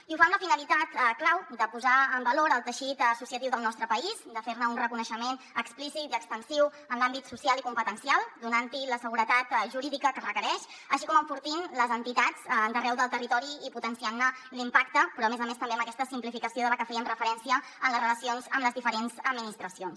i ho fa amb la finalitat clau de posar en valor el teixit associatiu del nostre país de fer ne un reconeixement explícit i extensiu en l’àmbit social i competencial donant hi la seguretat jurídica que es requereix així com enfortint les entitats d’arreu del territori i potenciant ne l’impacte però a més a més també amb aquesta simplificació a la que fèiem referència en les relacions amb les diferents administracions